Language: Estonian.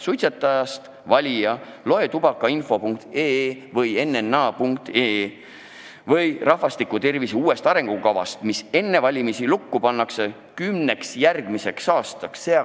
Suitsetajast valija, tee lahti tubakainfo.ee või nna.ee või loe rahvastiku tervise uuest arengukavast, mis enne valimisi kümneks järgmiseks aastaks lukku pannakse!